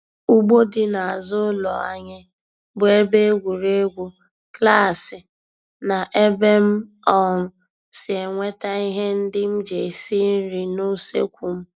Ugbo dị n'azụ ụlọ anyị bụ ebe egwuregwu, klaasị na ebe m um si enweta ihe ndị m ji esi nri n'useekwu m.